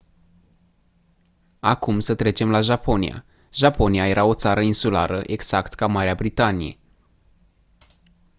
acum să trecem la japonia japonia era o țară insulară exact ca marea britanie